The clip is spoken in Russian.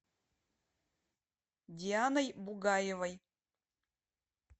дианой бугаевой